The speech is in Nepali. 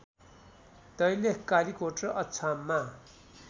दैलेख कालिकोट र अछाममा